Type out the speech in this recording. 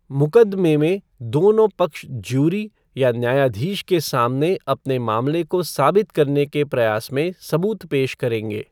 मुकदमे में, दोनों पक्ष ज्यूरी या न्यायाधीश के सामने अपने मामले को साबित करने के प्रयास में सबूत पेश करेंगे।